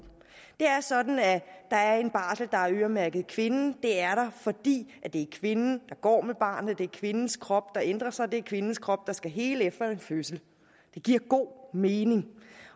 det er sådan at der er en barsel der er øremærket kvinden det er der fordi det er kvinden der går med barnet det er kvindens krop der ændrer sig det er kvindens krop der skal hele efter en fødsel det giver god mening